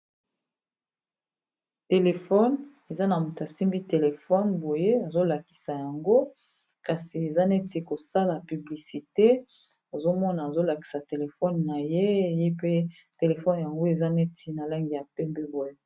Telefone eza na moto asimbi telefone boye azolakisa yango kasi eza neti kosala publicite ozomona azolakisa telefone na ye ye pe telefone yango eza neti na langi ya pembe boye